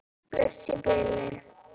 Bless í bili.